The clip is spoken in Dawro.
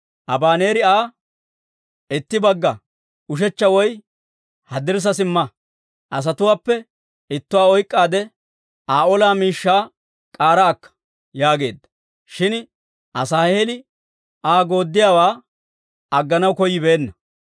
Abaneeri Aa, «Itti bagga, ushechcha woy haddirssa simma; asatuwaappe ittuwaa oyk'k'aadde Aa olaa miishshaa k'aara akka» yaageedda; shin Asaaheeli Aa yederssiyaawaa agganaw koyyibeenna.